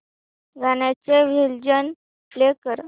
गाण्याचे version play कर